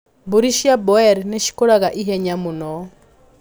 Mbũri cia Boer nĩcikũraga ihenya mũno.